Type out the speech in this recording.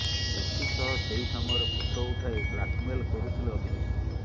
ଏଥିସହ ସେହି ସମୟର ଫଟୋ ଉଠାଇ ବ୍ଲାକ୍ମେଲ କରୁଥିଲେ ଅଭିଯୁକ୍ତ